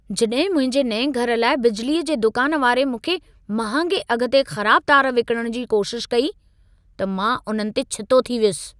जॾहिं मुंहिंजे नएं घर लाइ बिजलीअ जे दुकान वारे मूंखे महांगे अघ ते ख़राब तार विकणण जी कोशिशि कई, त मां उन्हनि ते छितो थी वयुसि।